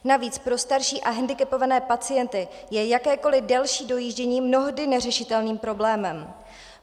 Navíc pro starší a hendikepované pacienty je jakékoliv delší dojíždění mnohdy neřešitelným problémem.